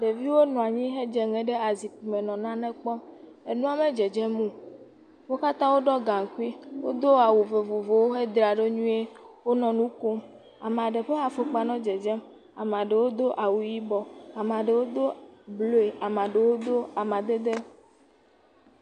Ɖeviwo nɔ anyi hedze ŋe ɖe azikpui me henɔ nane kpɔm nua medzedzem o wo katã woɖɔ gankui wodo awu vovovowo hedzraɖo nyui nɔ nukom ame aɖe ƒe afɔkpa nɔ dzedzem ɖewo do awu yibɔ ɖewo do awu blu ɖewo do amadede